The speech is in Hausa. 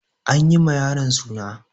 An yi ma yaron suna.